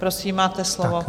Prosím, máte slovo.